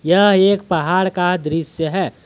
यह एक पहाड़ का दृश्य है।